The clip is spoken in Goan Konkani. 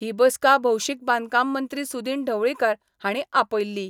ही बसका भौशीक बांदकाम मंत्री सुदिन ढवळीकार हांणी आपयल्ली.